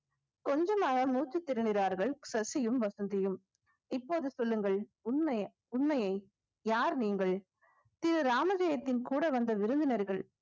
கொஞ்சமாக மூச்சு திணறினார்கள் சசியும் வசந்தியும் இப்போது சொல்லுங்கள் உண்மை உண்மையை யார் நீங்கள் திரு ராமஜெயத்தின் கூட வந்த விருந்தினர்கள்